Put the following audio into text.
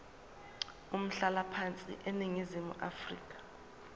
umhlalaphansi eningizimu afrika